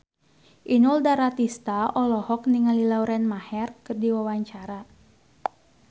Inul Daratista olohok ningali Lauren Maher keur diwawancara